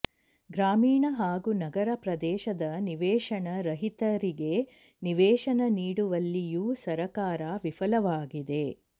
ಗ್ರಾಮೀಣ ಹಾಗೂ ನಗರ ಪ್ರದೇಶದ ನಿವೇಶನ ರಹಿತರಿಗೆ ನಿವೇಶನ ನೀಡುವಲ್ಲಿಯೂ ಸರ್ಕಾರ ವಿಫಲವಾಗಿದೆ